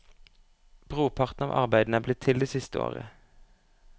Brorparten av arbeidene er blitt til det siste året.